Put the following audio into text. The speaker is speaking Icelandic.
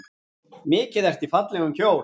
Mikið ertu í fallegum kjól.